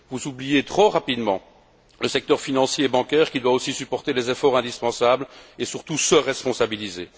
Vous oubliez trop rapidement le secteur financier et bancaire qui doit aussi supporter les efforts indispensables, et surtout se responsabiliser.